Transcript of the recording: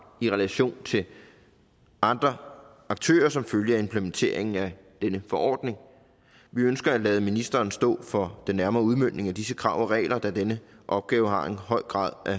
i relation til andre aktører som følge af implementeringen af denne forordning vi ønsker at lade ministeren stå for den nærmere udmøntning af disse krav og regler da denne opgave har en høj grad af